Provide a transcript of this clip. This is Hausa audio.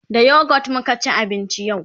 da youghurt muka ci abinci yau